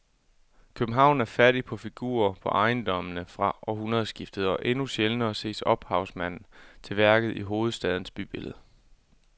København er fattig på figurer på ejendommene fra århundredskiftet og endnu sjældnere ses ophavsmanden til værket i hovedstadens bybillede.